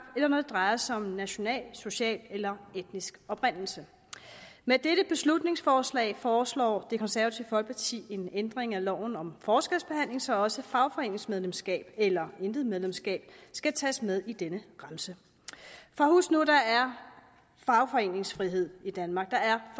eller når det drejer sig om national social eller etnisk oprindelse med dette beslutningsforslag foreslår det konservative folkeparti en ændring af loven om forskelsbehandling så også fagforeningsmedlemskab eller intet medlemskab skal tages med i denne remse for husk nu at der er fagforeningsfrihed i danmark